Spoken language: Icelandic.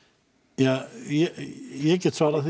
ja ég get svarað því